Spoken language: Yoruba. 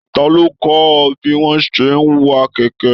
Talo kọ ọ bí wọn ṣe n wa kẹkẹ?